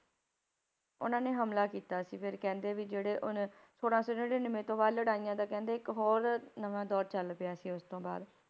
ਉਹਨਾਂ ਨੇ ਹਮਲਾ ਕੀਤਾ ਸੀ ਫਿਰ ਕਹਿੰਦੇ ਵੀ ਜਿਹੜੇ ਉਨ~ ਛੋਲਾਂ ਸੌ ਨੜ੍ਹਿਨਵੇਂ ਤੋਂ ਬਾਅਦ ਲੜਾਈਆਂ ਦਾ ਕਹਿੰਦੇ ਇੱਕ ਹੋਰ ਨਵਾਂ ਦੌਰ ਚੱਲ ਪਿਆ ਸੀ ਉਸ ਤੋਂ ਬਾਅਦ।